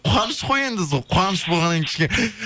қуаныш қой енді сол қуаныш болғаннан кейін кішкене